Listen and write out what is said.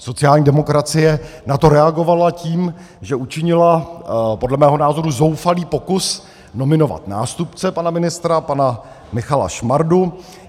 Sociální demokracie na to reagovala tím, že učinila podle mého názoru zoufalý pokus nominovat nástupce pana ministra pana Michala Šmardu.